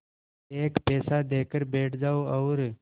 एक पैसा देकर बैठ जाओ और